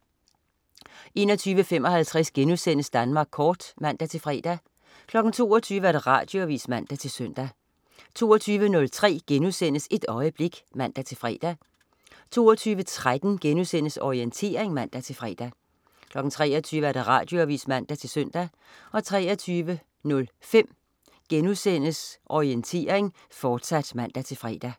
21.55 Danmark Kort* (man-fre) 22.00 Radioavis (man-søn) 22.03 Et øjeblik* (man-fre) 22.13 Orientering* (man-fre) 23.00 Radioavis (man-søn) 23.05 Orientering, fortsat* (man-fre)